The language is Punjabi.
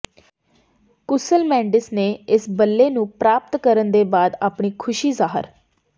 ਕੁਸਲ ਮੇਂਡਿਸ ਨੇ ਇਸ ਬੱਲੇ ਨੂੰ ਪ੍ਰਾਪਤ ਕਰਨ ਦੇ ਬਾਅਦ ਆਪਣੀ ਖੁਸ਼ੀ ਜ਼ਾਹਰ